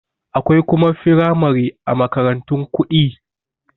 Akwai kuma firamare a makarantun kuɗi